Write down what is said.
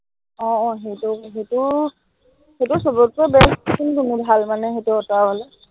আহ সেইটো, সেইটোৰো সেইটোৰ সৱতকে best কোনটোনো ভাল মানে সেইটো অঁতৰাবলে